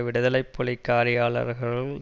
விடுதலை புலி காரியாளர்கள்